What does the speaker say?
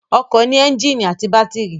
Ọkọ̀ ní ẹ́ńjìnì àti bátírì